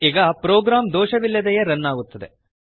ಈಗ ಪ್ರೋಗ್ರಾಮ್ ದೋಷವಿಲ್ಲದೆಯೇ ರನ್ ಆಗುತ್ತದೆ